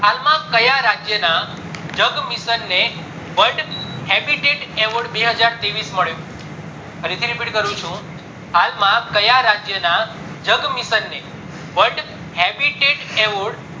માં ક્યાં રાજ્ય ના જગ mission ને world habitat award બે હાજર ત્રેવીસ મળ્યો ‌ ફરીથી repeat કરું છુ માં ક્યાં રાજ્ય ના જગ mission ને world habitat awar